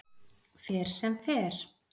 Fer sem fer